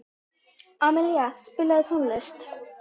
Amilía, spilaðu tónlist.